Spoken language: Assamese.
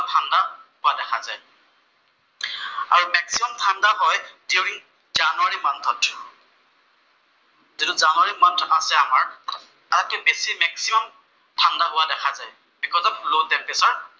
দিউৰিং জানুৱাৰী মান্থত। যিটো জানুৱাৰী মান্থ আছে আমাৰ তাতে বেছি মেক্সিমাম ঠাণ্ডা হোৱা দেখা যায় বিকজ অফ লʼ টেমপ্ৰেচাৰ কাৰণে।